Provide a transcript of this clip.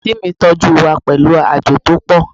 Aunty mi toju wa pelu aajo to po